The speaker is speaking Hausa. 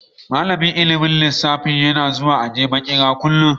Malamin ilmin lissafi yana zuwan aji a makere kullum.